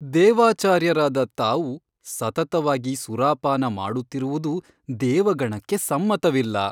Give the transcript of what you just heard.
ದೇವಾಚಾರ್ಯರಾದ ತಾವು ಸತತವಾಗಿ ಸುರಾಪಾನ ಮಾಡುತ್ತಿರುವುದು ದೇವಗಣಕ್ಕೆ ಸಮ್ಮತವಿಲ್ಲ.